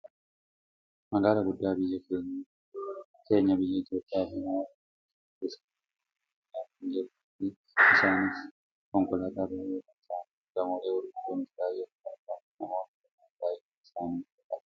Magaalaa guddaa biyya keenya biyya Itoopiyaa fi namoota konkolaataan keessa deemaa jiran argaa kan jirruufi isaanis konkolaataa baayyee kan ta'anidha. Gamoolee gurguddoonis baayyeen ni argamu. Namoonni kunneen baayyinni isaanii meeqadha?